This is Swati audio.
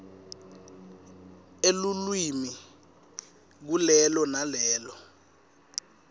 elulwimi kulelo nalelo